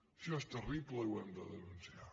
això és terrible i ho hem de denunciar